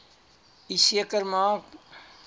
u seker maak